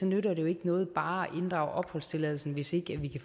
nytter ikke noget bare at inddrage opholdstilladelsen hvis ikke vi